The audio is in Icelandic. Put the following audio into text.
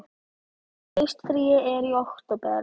Haustfríið er í október.